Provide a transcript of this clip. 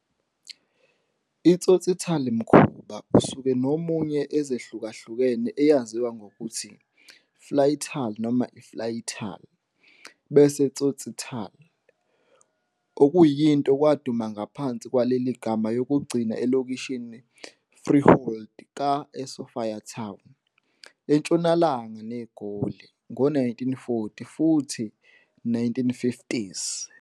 I tsotsitaal mkhuba usuka nomunye ezihlukahlukene eyaziwa ngokuthi Flaaitaal noma Flytaal, bese Tsotsitaal, okuyinto kwaduma ngaphansi kwaleli gama yokugcina elokishini freehold ka eSophiatown, entshonalanga neGoli, ngo-1940 futhi 1950s.